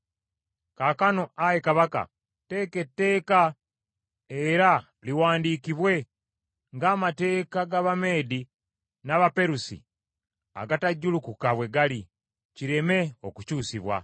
Kaakano ayi kabaka teeka etteeka era liwandiikibwe, ng’amateeka g’Abameedi n’Abaperusi agatajjulukuka bwe gali, kireme okukyusibwa.”